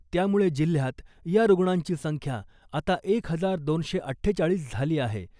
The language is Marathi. त्यामुळे जिल्ह्यात या रुग्णांची संख्या आता एक हजार दोनशे अठ्ठेचाळीस झाली आहे .